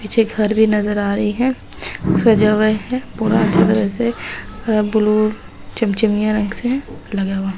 पीछे घर भी नजर आ रही है सजा हुआ है पूरा अच्छा तरह से अ ब्लु चमचमिया रंग से लगा हुआ।